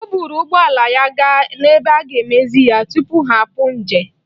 O buru ụgbọ ala ya gaa n'ebe a ga-emezi ya tupu ha apụ ije.